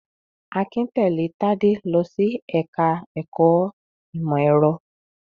Akin tẹ̀lé Tádé lọ sí ẹ̀ka-ẹ̀kọ́ ìmọ̀-ẹ̀rọ.